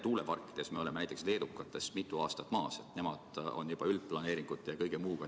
Meretuuleparkide alal me oleme näiteks leedukatest mitu aastat maas, nemad tegelevad juba üldplaneeringute ja kõige muuga.